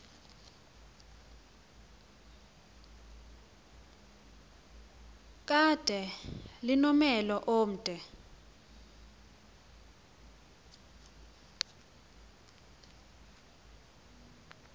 kade linomhelo omde